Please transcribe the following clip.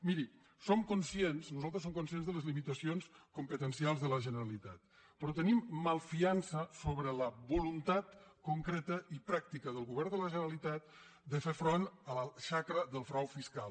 miri som conscients nosaltres som conscients de les limitacions competencials de la generalitat però te·nim malfiança sobre la voluntat concreta i pràctica del govern de la generalitat de fer front a la xacra del frau fiscal